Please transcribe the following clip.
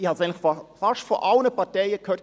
Ich habe es fast von allen Parteien gehört: